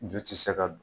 Ju ti se ka don